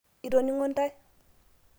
itoningo ntae